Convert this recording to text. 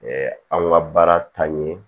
anw ka baara taa ɲɛ